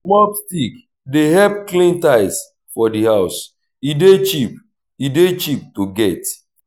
mob stick dey help clean tiles for di house e dey cheap e dey cheap to get